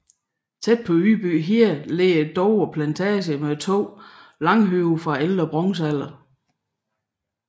Tæt ved Ydby Hede ligger Dover Plantage med to langhøje fra ældre bronzealder